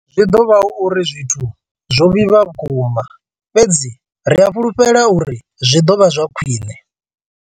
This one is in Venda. Zwi ḓo vha hu uri zwithu zwo vhifha vhukuma, fhedzi ri a fhulufhela uri zwi ḓo vha khwiṋe.